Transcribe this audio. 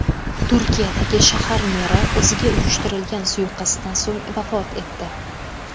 Turkiyadagi shahar meri o‘ziga uyushtirilgan suiqasddan so‘ng vafot etdi.